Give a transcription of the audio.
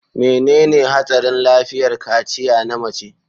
Menene Hatsarin Lafiyar Kaciya Na Mace?